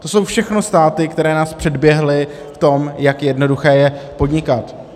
To jsou všechno státy, které nás předběhly v tom, jak jednoduché je podnikat.